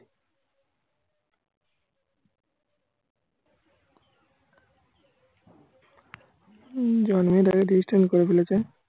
জন্মের আগে registration করে ফেলেছে।